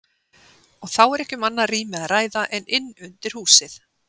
Og þá er ekki um annað rými að ræða en inn undir húsið.